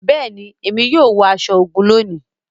Béèni, Èmí yóò wọ aṣọ ogún lóni